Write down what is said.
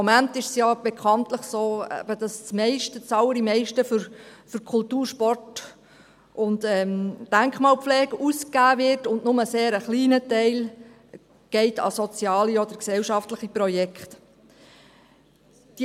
Im Moment ist es ja bekanntlich so, dass das Allermeiste für Kultur, Sport und Denkmalpflege ausgegeben wird und nur ein sehr kleiner Teil an soziale oder gesellschaftliche Projekte geht.